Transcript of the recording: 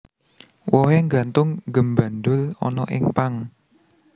Wohé nggantung gémbandul ana ing pang